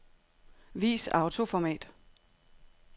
Vis autoformat.